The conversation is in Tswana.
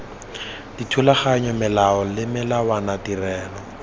dithulaganyo melao le melawana tirelo